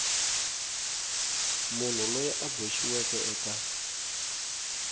munhu loyi a boxiweke eka